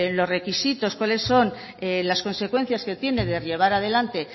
los requisitos cuáles son las consecuencias que tiene de llevar adelante